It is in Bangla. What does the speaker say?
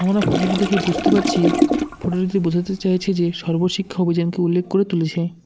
আমরা ফটো -টি দেখে বুঝতে পারছি ফটো -টিতে বোঝাতে চাইছে যে সর্বশিক্ষা অভিযানকে উল্লেখ করে তুলেছে।